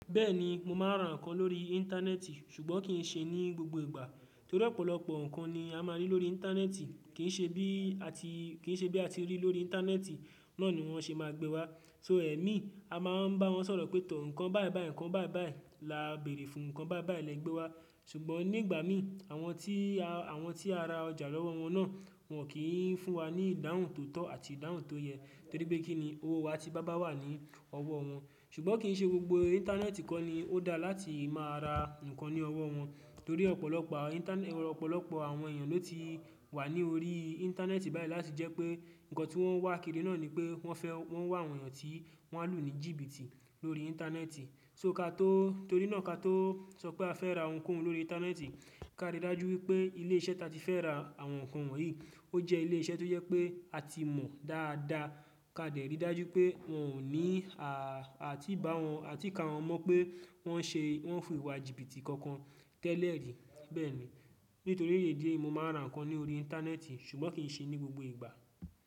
Bẹ́ẹ̀ni mo máa ra nǹkan lórí íńtánẹ́ẹ̀tì ṣùgbọ́n kì í ṣe ní gbogbo ìgbà torí ọ̀pọ̀lọpọ̀ nǹkan ni a máa rí lórí íńtánẹ́ẹ̀tì kì í ṣe bí a ti rí lórí íńtánẹ́ẹ̀tì náà ni wọ́n ṣe máa gbé wá. So ẹ̀mí a máa ń bá wọn sọ̀rọ̀ pé tọ̀ nǹkan báì báì nǹkan báì báì la béèrè fún nǹkan báì báì lẹ gbé wá ṣùgbọ́n nígbà mìí àwọn tí a ra ọjà lọ́wọ́ wọn náà wọn kì í fún wa ní ìdáhùn tó tọ́ àti ìdáhùn tó yẹ torí pé kí ni owó wa ti bá bà wà ní ọwọ́ wọn. Ṣùgbọ́n kì í ṣe gbogbo íńtánẹ́ẹ̀tì kọ́ ni ó dáa láti máa ra nǹkan ní ọwọ́ wọn torí ọ̀pọ̀lọpọ̀ àwọn èèyàn ló ti wà ní orí íńtánẹ́ẹ̀tì báyìí láti jẹ́ pé nǹkan tí wọ́n wá kiri náà ni pé wọ́n fẹ́ wọ́n wá àwọn èèyàn tí wọ́n á lò ní jìbìtì lórí íńtánẹ́ẹ̀tì so kato torí náà ka tó sọ pé a fẹ́ ra oun kohu lórí íńtánẹ́ẹ̀tì ká rí dájú wípé ilé iṣẹ́ ta tí fẹ́ ra àwọn nǹkan wọ̀nyí ó jẹ́ ilé iṣẹ́ tó yẹ pé a ti mọ̀ dáadáa ká dè rí dájú pé wọn ò ní a ti bá a ti ka wọn mọ̀ pé wọ́n ń fò ìwà jìbìtì kankan tẹ́lẹ̀ rí. Bẹ́ẹ̀ni nítorí ìdí èyí mo máa ra nǹkan ní orí íńtánẹ́ẹ̀tì ṣùgbọ́n kì í ṣe ní gbogbo ìgbà.